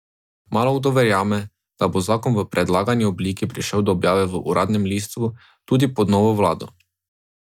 Malokdo verjame, da bo zakon v predlagani obliki prišel do objave v uradnem listu tudi pod novo vlado.